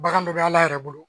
Bagan bɛɛ bɛ Ala yɛrɛ bolo